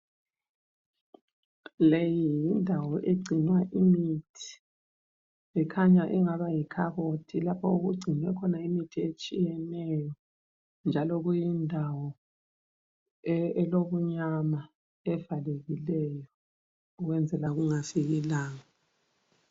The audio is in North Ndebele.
Leyi yindawo egcinwa imithi ,ikhanya ingaba yikhabothi lapho okugcinwe khona imithi etshiyeneyo ,njalo kuyindawo elobunyama evalekileyo ukwenzela kungafiki ilanga